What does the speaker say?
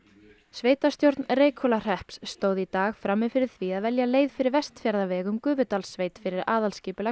sveitarstjórn Reykhólahrepps stóð í dag frammi fyrir því að velja leið fyrir Vestfjarðaveg um Gufudalssveit fyrir aðalskipulag